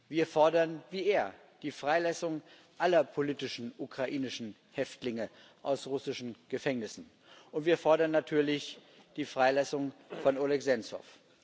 Wir fordern wie er die Freilassung aller politischen ukrainischen Häftlinge aus russischen Gefängnissen, und wir fordern natürlich die Freilassung von Oleh Senzow.